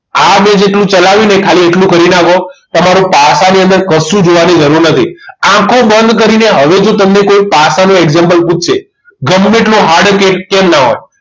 આ મેં જેટલું ચલાવ્યું એટલું ખાલી કરી નાખો તમારું પાસાની અંદર કશું જોવાની જરૂર નથી આંખો બંધ કરીને હવેથી તમને કોઈ પાસાનું example પૂછશે ગમે તેટલું hard કે કેમ ના હોય